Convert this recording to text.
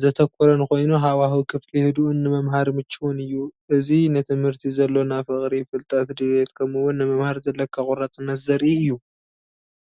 ዘተኮረን ኮይኑ ሃዋህው ክፍሊ ህዱእን ንመምሃሪ ምቹውን እዩ። እዚ ንትምህርቲ ዘሎና ፍቕሪ፡ ፍልጠት ድሌት ከምኡ’ውን ንምምሃር ዘለካ ቆራጽነት ዘርኢ እዩ።